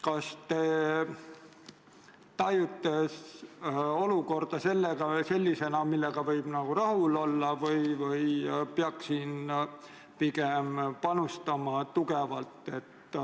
Kas te tajute olukorda sellisena, millega võib rahul olla, või peaks siin pigem tugevalt panustama, et